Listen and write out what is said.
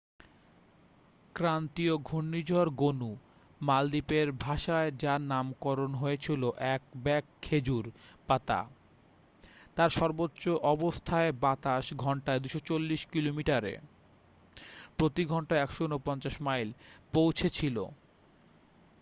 ক্রান্তীয় ঘূর্ণিঝড় গনু মালদ্বীপের ভাষায় যার নামকরণ হয়েছিল এক ব্যাগ খেজুর পাতা তার সর্বোচ্চ অবস্থায় বাতাস ঘন্টায় ২৪০ কিলোমিটারে প্রতি ঘন্টায় ১৪৯ মাইল পৌঁছেছিল।